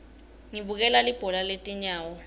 ngibukela libhola letinyawo